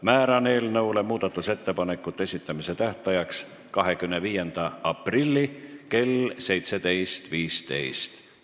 Määran eelnõu muudatusettepanekute esitamise tähtajaks 25. aprilli kell 17.15.